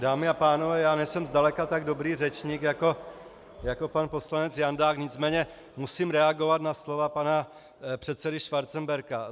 Dámy a pánové, já nejsem zdaleka tak dobrý řečník jako pan poslanec Jandák, nicméně musím reagovat na slova pana předsedy Schwarzenberga.